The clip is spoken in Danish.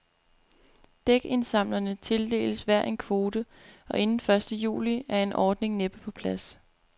Dækindsamlerne tildeles hver en kvote, og inden første juli er en ordning næppe på plads.